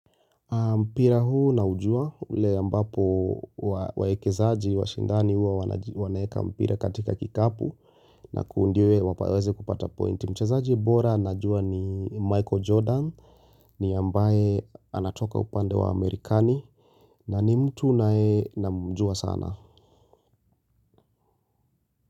Mpira huu naujua, ule ambapo waekezaji, washindani huwa wanaeka mpira katika kikapu na kuundiwe wapaweze kupata pointi. Mchezaji bora najua ni Michael Jordan, ni ambaye anatoka upande wa Amerikani na ni mtu naye namjua sana.